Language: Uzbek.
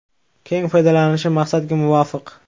keng foydalanishi maqsadga muvofiq.